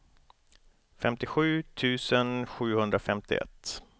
femtiosju tusen sjuhundrafemtioett